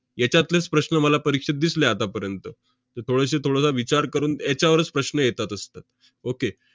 याच्यातलेच प्रश्न मला परीक्षेत दिसले आतापर्यंत. तर थोडेसे~ थोडासा विचार करून याच्यावरच प्रश्न येतात~ असतात. okay